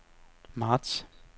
marts